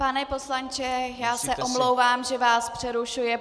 Pane poslanče, já se omlouvám, že vás přerušuji.